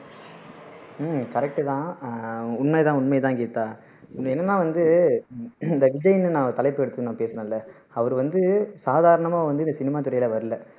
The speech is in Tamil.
உம் correct தான் ஆஹ் உண்மை தான் உண்மை தான் கீதா இது என்னன்னா வந்து இந்த விஜய்னு நான் ஒரு தலைப்பு எடுத்து பேசுறேன்ல அவரு வந்து சாதாரணமா வந்து இந்த சினிமா துறையில வரலை